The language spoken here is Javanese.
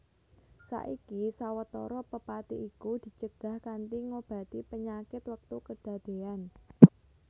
Saiki sawetara pepati iku dicegah kanthi ngobati panyakit wektu kedadéyan